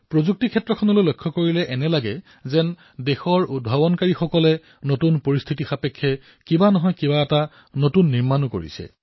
প্ৰযুক্তিৰ দিশৰ পৰা এনে লাগে যেন দেশৰ প্ৰতিজন উদ্ভাৱকে নতুন পৰিস্থিতিক লৈ নতুন কিবা নহয় কিবা এটা নিৰ্মাণ কৰি আছে